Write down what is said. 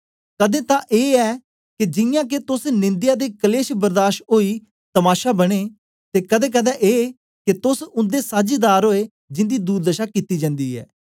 कदें तां ए के जियां के तोस निंदया ते कलेश बर्दाश ओई तमाशा बने ते कदें कदें ए के तोस उन्दे साझीदार ओए जिंदी दुर्दशा कित्ती जन्दी ऐ